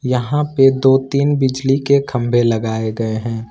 यहां पे दो तीन बिजली के खंभे लगाए गए हैं।